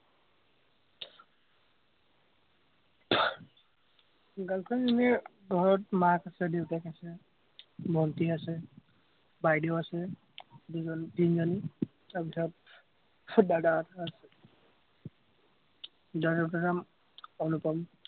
girl friend ৰ এনেই ঘৰত মাক আছে, দেউতাক আছে, ভন্টী আছে, বাইদেউ আছে, দুজনী- তিনজনী, তাৰ পিছত আহ দাদা এটা আছে। অনুপম